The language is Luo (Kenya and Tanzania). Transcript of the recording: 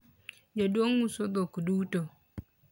jaduong uso dhok duto